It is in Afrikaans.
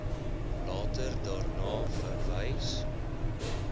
later daarna verwys